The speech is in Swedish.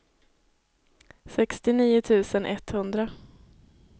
sextionio tusen etthundra